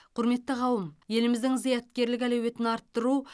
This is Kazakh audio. құрметті қауым еліміздің зияткерлік әлеуетін арттыру